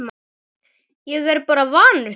Ég er bara vanur því